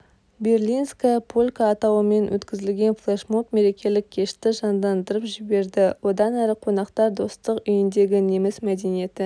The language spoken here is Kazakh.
берлинская полька атауымен өткізілген флешмоб мерекелік кешті жандандырып жіберді одан әрі қонақтар достық үйіндегі неміс мәдениеті